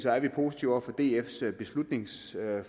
er vi positive over for dfs beslutningsforslag